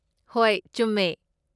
ꯍꯣꯏ, ꯆꯨꯝꯃꯦ꯫